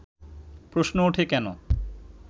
প্রশ্ন ওঠে কেন